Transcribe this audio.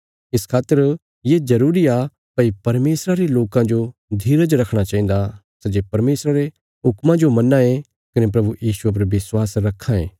इस खातर ये जरूरी आ भई परमेशरा रे लोकां जो धीरज रखणा चाहिन्दा सै जे परमेशरा रे हुक्मा जो मन्नांये कने प्रभु यीशुये पर विश्वास रखां ये